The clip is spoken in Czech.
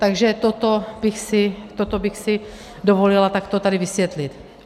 Takže toto bych si dovolila takto tady vysvětlit.